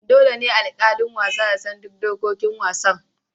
Dole ne alƙalin wasa ya san duk dokokin wasan.